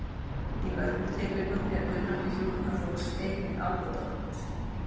Í mörgum tilvikum er kunnáttu hjúkrunarfólks einnig ábótavant.